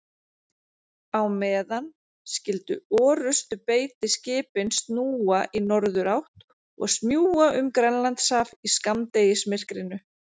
Á meðan skyldu orrustubeitiskipin snúa í norðurátt og smjúga um Grænlandshaf í skammdegismyrkrinu.